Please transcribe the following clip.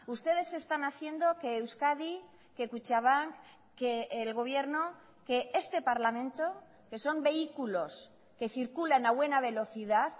ustedes están haciendo que euskadi que kutxabank que el gobierno que este parlamento que son vehículos que circulan a buena velocidad